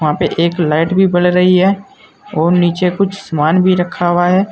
वहां पे एक लाइट भी बल रही है और नीचे कुछ सामान भी रखा हुआ है।